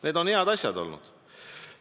Need on head asjad olnud.